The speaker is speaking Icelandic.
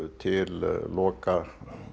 til loka